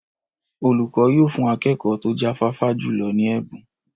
Olùkọ́ yóò fún akẹ́kọ̀ọ́ tó jáfáfá jùlọ ní ẹ̀bùn.